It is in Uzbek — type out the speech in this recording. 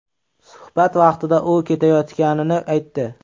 Suhbat vaqtida u ketayotganini aytdi.